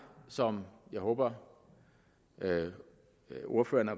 som jeg håber ordførerne